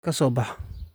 Ka bax